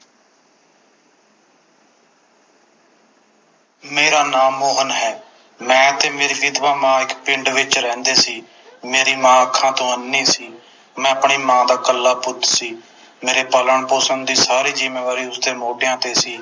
ਮੇਰਾ ਨਾਮ ਮੋਹਨ ਹੈ ਮੈਂ ਤੇ ਮੇਰੀ ਵਿਧਵਾ ਮਾਂ ਇਕ ਪਿੰਡ ਵਿਚ ਰਹਿੰਦੇ ਸੀ ਮੇਰੀ ਮਾਂ ਅੱਖਾਂ ਤੋਂ ਅੰਨ੍ਹੀ ਸੀ ਮੈਂ ਆਪਣੀ ਮਾਂ ਦਾ ਇੱਕਲਾ ਪੁੱਤ ਸੀ ਮੇਰੇ ਪਾਲਣ ਪੋਸ਼ਣ ਦੀ ਸਾਰੀ ਜਿੰਮੇਵਾਰੀ ਉਸਦੇ ਮੋਢਿਆਂ ਤੇ ਸੀ